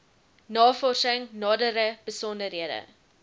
navorsing nadere besonderhede